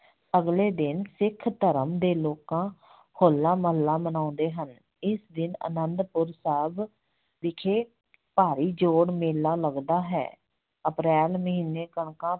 ਅਗਲੇ ਦਿਨ ਸਿੱਖ ਧਰਮ ਦੇ ਲੋਕਾਂ ਹੋਲਾ ਮਹੱਲਾ ਮਨਾਉਂਦੇ ਹਨ, ਇਸ ਦਿਨ ਆਨੰਦਪੁਰ ਸਾਹਿਬ ਵਿਖੇ ਭਾਰੀ ਜੋੜ ਮੇਲਾ ਲੱਗਦਾ ਹੈ ਅਪ੍ਰੈਲ ਮਹੀਨੇ ਕਣਕਾਂ